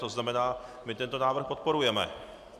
To znamená, my tento návrh podporujeme.